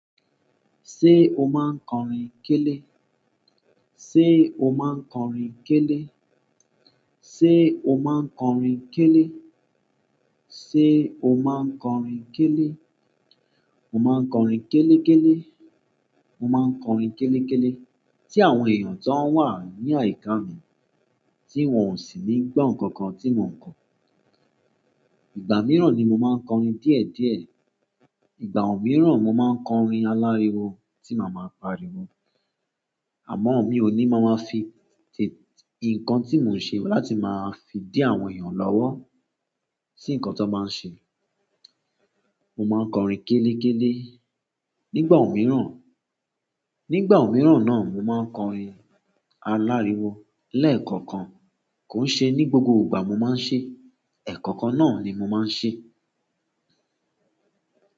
Ṣé o máa ń kọrin kélé? Ṣé o máa ń kọrin kélé? Ṣé o máa ń kọrin kélé? Ṣé o máa ń kọrin kélé? Mo máa ń kọrin kélekele mo máa ń kọrin kélekele tí àwọn èèyàn tó wà ní àyíká mi, tí wọ́n ò sì nígbo nǹkan kan tí mò ń kọ. Ìgbà mìíràn ni mo máa ń kọrin díẹ̀díẹ̀. Ìgbà mìíràn mo máa ń kọrin aláriwo tí màá ma pariwo. Àmọ́ mi ò ní máa máa fi unkan ti mo un se láti ma fi di àwọn ènìyàn lowo, si unkan ti won ba un se. Mo ma n kọrin kelekele. Nigbamiran, nigbamiran na mo ma n kọrin aláriwo. Lẹ́ẹ̀kọ̀kan kò ń ṣe ní gbogbo ìgbà mo máa ń ṣe. Ẹ̀kọ̀kan náà ni mo máa ń ṣe.